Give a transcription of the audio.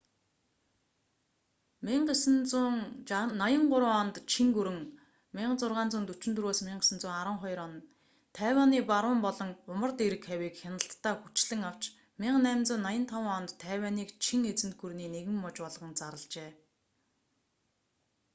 1683 онд чин гүрэн 1644-1912 тайванийн баруун болон умард эрэг хавийг хяналтдаа хүчлэн авч 1885 онд тайванийг чин эзэнт гүрний нэгэн муж болгон зарлажээ